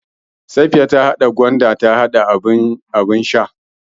Da gwanda aka Safiya hada abin shan.